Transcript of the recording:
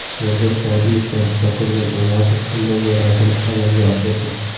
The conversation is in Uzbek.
Yodgor Sa’diyev va Zokirjon Almatov umra ziyoratini amalga oshirdi.